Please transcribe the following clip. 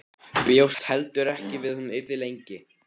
Bjóst heldur ekki við að hún yrði lengi.